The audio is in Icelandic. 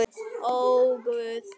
Ó, Guð!